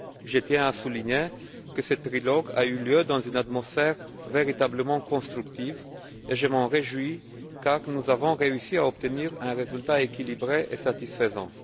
Je tiens à souligner que ce trilogue a eu lieu dans une atmosphère véritablement constructive et je m'en réjouis, car nous avons réussi à obtenir un résultat équilibré et satisfaisant.